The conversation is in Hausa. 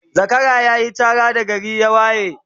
Zakara yayi Chara da gari ya waye